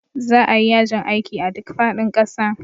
Za a yi yajin aiki a duk faɗin ƙasa.